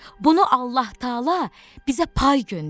Bunu Allah taala bizə pay göndərib,